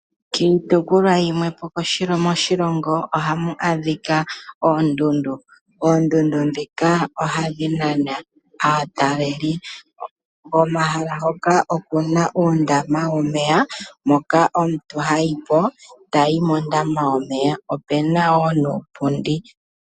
Kiitukulwa yimwepo moshilongo , ohamu adhika oondundu. Oondundu dhika ohadhi nana aataleli. Omahala ngoka opuna ondama yomeya, mpoka omuntu hayi po, tayi mondama yomeya, opuna wo nuupundi.